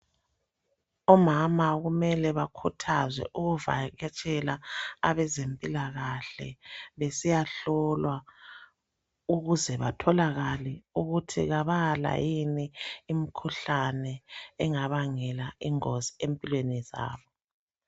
Omama kumele bakhuthazwe ukuvakatshela abezempilakahle besiyahlolwa ukuze batholakale ukuthi kabala yini imkhuhlane engabangela ingozi empilweni zabo.